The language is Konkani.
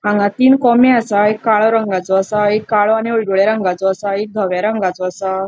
हांगा तीन कॉमे असा एक काळो रंगाचो असा एक काळो आणि हाळडूव्या रंगाचो असा एक धोव्या रंगाचो असा.